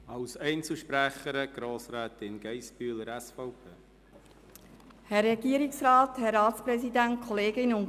Als Einzelsprecherin spricht Grossrätin Geissbühler, SVP.